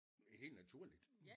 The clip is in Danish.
Helt naturligt